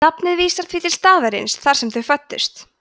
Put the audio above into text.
nafnið vísar því til staðarins þar sem þau fæddust